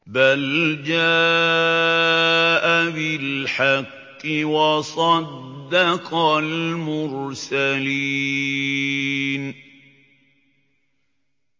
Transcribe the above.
بَلْ جَاءَ بِالْحَقِّ وَصَدَّقَ الْمُرْسَلِينَ